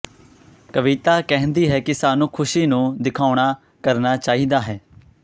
ਕਵਿਤਾ ਕਹਿੰਦੀ ਹੈ ਕਿ ਸਾਨੂੰ ਖ਼ੁਸ਼ੀ ਨੂੰ ਦਿਖਾਉਣ ਨਾ ਕਰਨਾ ਚਾਹੀਦਾ ਹੈ